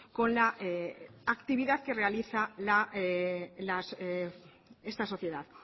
con la actividad que realiza esta sociedad